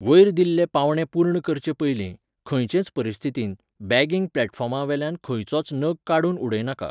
वयर दिल्ले पावंडे पूर्ण करचेपयलीं, खंयचेय परिस्थितींत, बॅगिंग प्लॅटफॉर्मावेल्यान खंयचोच नग काडून उडयनाका.